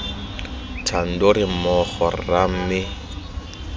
thando re mmogo rra mme